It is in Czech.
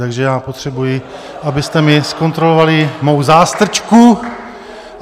Takže já potřebuji, abyste mi zkontrolovali mou zástrčku.